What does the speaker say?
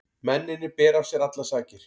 Mennirnir bera af sér allar sakir